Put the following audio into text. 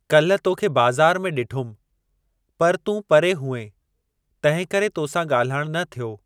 काल्हि तोखे बाज़ारि में ॾिठुमि पर तूं परे हुएं , तंहिं करे तोसां ॻाल्हाइणु न थियो ।